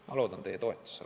Ma loodan teie toetusele.